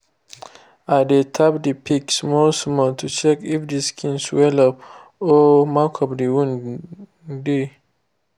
i dey tap the pigs small small to check if the skin swell up or mark of wound dey.